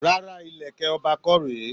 Rárá, ìlẹ̀kẹ̀ ọba kọ́ rèé.